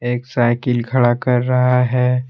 एक साइकिल खड़ा कर रहा है।